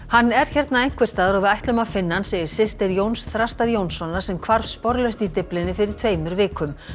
hann er hérna einhvers staðar og við ætlum að finna hann segir systir Jóns Þrastar Jónssonar sem hvarf sporlaust í Dyflinni fyrir tveimur vikum